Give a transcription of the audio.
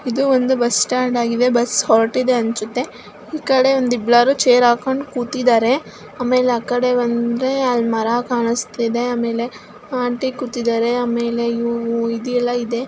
ಇದು ಒಂದು bus stand ಆಗಿವೆ ಬಸ್ ಹೊರಟ್ಟಿದೆ ಅನ್ನಸುತ್ತೆಈಕಡೆ ಒಂದ ಇಬ್ಬಳರು ಚೇರ್ ಹಾಕೊಂಡಿ ಕುತಿದ್ದಾರೆ ಆಕಡೆ ಒಂದ್ರೆ ಅಲ್ಲಿ ಮರ ಕಾಣಸತ್ತಿದೆ ಆಮೇಲೆ ಆಂಟಿ ಕುತಿದ್ದರೆ ಆಮೇಲೆ ಇದು ಎಲ್ಲಾ ಇದೆ.